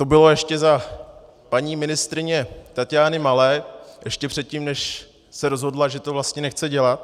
To bylo ještě za paní ministryně Taťány Malé, ještě předtím, než se rozhodla, že to vlastně nechce dělat.